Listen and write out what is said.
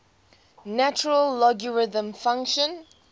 natural logarithm function